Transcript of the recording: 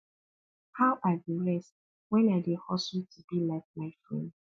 how i go rest wen i dey hustle to be like my friend